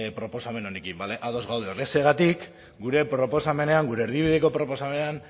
proposamen honekin bale ados gaude horrexegatik gure proposamenean gure erdibideko proposamenean